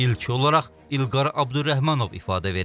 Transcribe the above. İlk olaraq İlqar Əbdürrəhmanov ifadə verib.